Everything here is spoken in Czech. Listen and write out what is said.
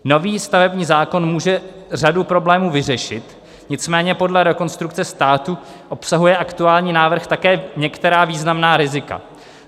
Nový stavební zákon může řadu problémů vyřešit, nicméně podle Rekonstrukce státu obsahuje aktuální návrh také některá významná rizika.